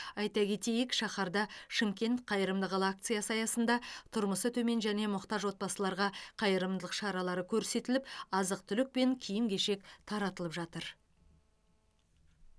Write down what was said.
айта кетейік шаһарда шымкент қайырымды қала акциясы аясында тұрмысы төмен және мұқтаж отбасыларға қайырымдылық шаралары көрсетіліп азық түлік пен киім кешек таратылып жатыр